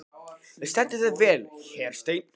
Þú stendur þig vel, Hersteinn!